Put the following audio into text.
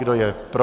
Kdo je pro?